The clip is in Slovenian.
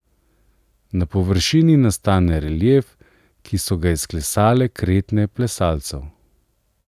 Na površini nastane relief, ki so ga izklesale kretnje plesalcev.